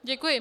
Děkuji.